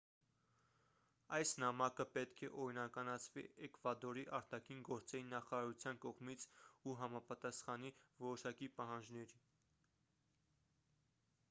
այս նամակը պետք է օրինականացվի էկվադորի արտաքին գործերի նախարարության կողմից ու համապատասխանի որոշակի պահանջների